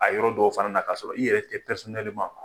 A yɔrɔ dɔw fana na ka sɔrɔ i yɛrɛ tɛ